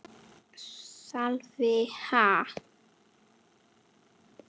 Sölvi: Ha?